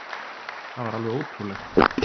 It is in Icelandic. Það var alveg ótrúlegt